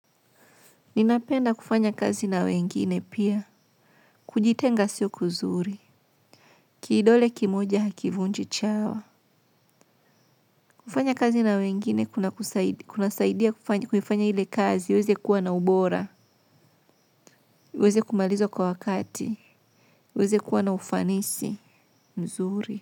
Ninapenda kufanya kazi na wengine pia, kujitenga sio kuzuri, kidole kimoja hakivunji chawa. Kufanya kazi na wengine, kuna saidia kuifanya ile kazi, iweze kuwa na ubora, uweze kumaliza kwa wakati, uweze kuwa na ufanisi, mzuri.